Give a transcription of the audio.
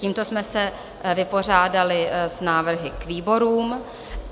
Tímto jsme se vypořádali s návrhy k výborům.